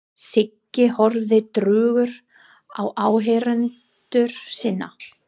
Siggi horfði drjúgur á áheyrendur sína.